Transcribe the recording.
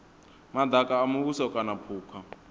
madaka a muvhuso kana phukha